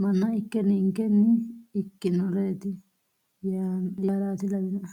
manna ikke ninkenni ikkinoreeti yaaraati lawinoe